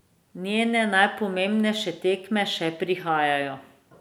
Njene najpomembnejše tekme še prihajajo.